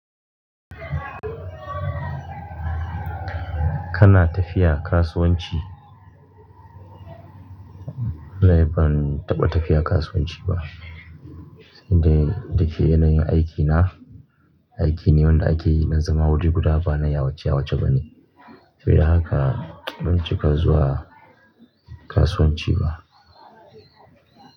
Kana tafiya kasuwanci? Lai ban taɓa tafiya kasuwanci ba. Sai dai dake yanayin aikina, aiki ne wanda ake yi don zama wuri guda ba na yawace yawace bane. Sai da haka ban cika zuwa kasuwanci ba.